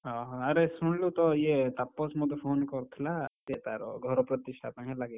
ଅହ ଆରେ ଶୁଣଲୁ ତୋ ୟେ ତାପସ ମତେ phone କରିଥିଲା। ସେ ତାର ଘର ପ୍ରତିଷ୍ଠା ପାଇଁ ହେଲା କି,